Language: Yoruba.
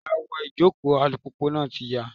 Awọ ìjòkó alùpùpù náà ti yá.